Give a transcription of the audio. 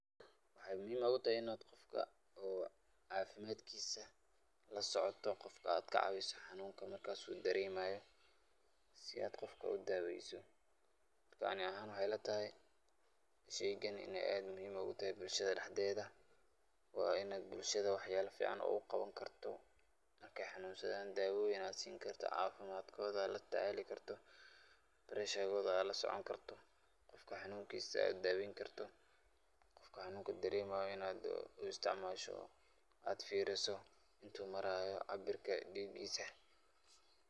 Waxay muhim ogu tahay inad qofka caafimadkisa lasocoto qofka ad kacaawiso sidu dareemayo oo ad daaweyso, ani ahan waxay ilatahy sheygan in aad muhim ogu tahay sheygan bulshada dhaxdeeda waa in ad bulshada wax yaba fican ogu qawan karto markay xanunsadan daawoyin ad sin kartoo od latacaali karto breshagod ad lasocooni karto qofka xanunkiisa ad daaweyn karto, qofka xanunka dareemay in ad u isticmaasho ad firiso intu marayo caabirka dhigiiisa.